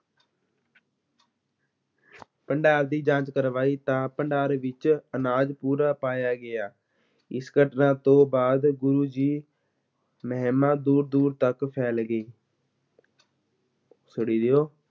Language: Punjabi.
ਭੰਡਾਰ ਦੀ ਜਾਂਚ ਕਰਵਾਈ, ਤਾਂ ਭੰਡਾਰ ਵਿੱਚ ਅਨਾਜ ਪੂਰਾ ਪਾਇਆ ਗਿਆ, ਇਸ ਘਟਨਾ ਤੋਂ ਬਾਅਦ ਗੁਰੂ ਜੀ ਮਹਿਮਾ ਦੂਰ-ਦੂਰ ਤੱਕ ਫੈਲ ਗਈ